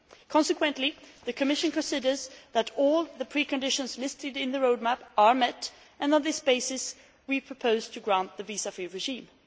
Consequently, the Commission considers that all the preconditions listed in the road map are met, and on this basis we propose to grant the visa free regime.